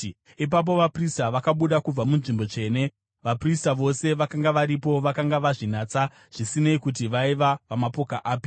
Ipapo vaprista vakabuda kubva muNzvimbo Tsvene. Vaprista vose vakanga varipo vakanga vazvinatsa zvisinei kuti vaiva vamapoka api.